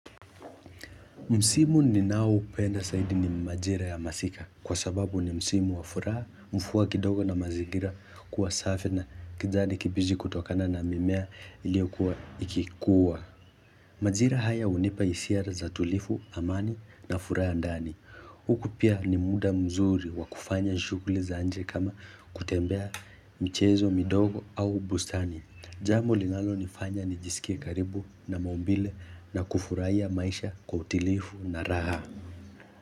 Msimu ninaoupenda zaidi ni majira ya masika kwa sababu ni msimu wa furaha mvua kidogo na mazingira kuwa safi na kijani kibichi kutokana na mimea iliokua ikikuwa. Majira haya hunipa hisia za tulivu, amani na furaha ndani. Huku pia ni muda mzuri wa kufanya shughuli za nje kama kutembea michezo, midogo au bustani. Jambo linalonifanya nijisikie karibu na maumbile na kufurahia maisha kwa utilivu na raha.